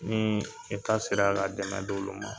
Ni eta sera ka dɛmɛ dɔ olu ma